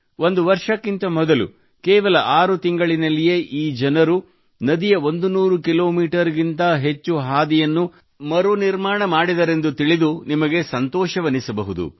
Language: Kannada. ಒಂದು ವರ್ಷಕ್ಕಿಂತ ಮೊದಲು ಕೇವಲ ಆರು ತಿಂಗಳಿನಲ್ಲಿಯೇ ಈ ಜನರು ನದಿಯ 100 ಕಿಲೋಮೀಟರ್ ಗಿಂತ ಹೆಚ್ಚು ಹಾದಿಯನ್ನು ಮರುನಿರ್ಮಾಣ ಮಾಡಿದರೆಂದು ತಿಳಿದು ನಿಮಗೆ ಸಂತೋಷವೆನಿಸಬಹುದು